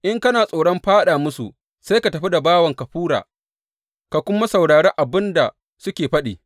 In kana tsoron fāɗa musu, sai ka tafi da bawanka Fura ka kuma saurari abin da suke faɗi.